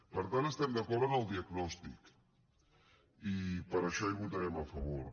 per tant estem d’acord amb el diagnòstic i per això hi votarem a favor